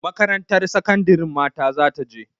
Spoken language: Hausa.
Makarantar sakandarin mata za ta je.